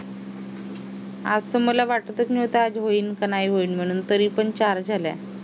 आज तर मला वाटतच नव्हतं आज होईल की नाही होईल म्हणून तरीपण चार झाल्या